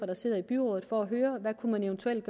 der sidder i byrådet for at høre hvad man eventuelt